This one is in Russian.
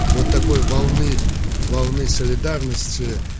вот такой волны волны солидарности